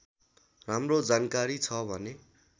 राम्रो जानकारी छ भने